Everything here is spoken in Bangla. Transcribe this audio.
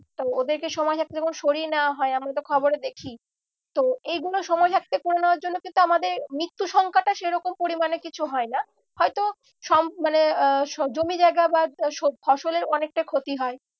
তো ওদেরকে সময় থাকতে যখন সরিয়ে নেওয়া হয় আমরা তো খবরে দেখি তো এগুলো সময় থাকতে করে নেওয়ার জন্য কিন্তু আমাদের মুত্যু সংখ্যাটা সেরকম পরিমানে কিছু হয় না। হয়তো মানে আহ জমি জায়গা বা ফসলের অনেকটা ক্ষতি হয়